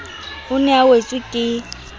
o ne a wetswe ke